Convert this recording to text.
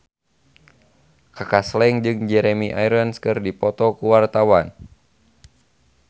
Kaka Slank jeung Jeremy Irons keur dipoto ku wartawan